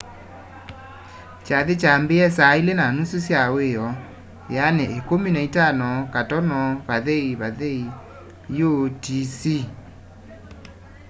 kyathĩ kyaambĩie saa ilĩ na nusu sya wĩoo 15.00 utc